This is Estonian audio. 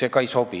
See ka ei sobi.